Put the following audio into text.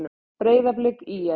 Breiðablik- ÍR